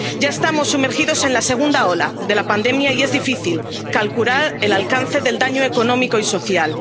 Ya estamos sumergidos en la segunda ola de la pandemia y es difícil calcular el alcance del daño económico y social.